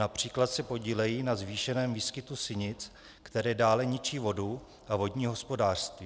Například se podílejí na zvýšeném výskytu sinic, které dále ničí vodu a vodní hospodářství.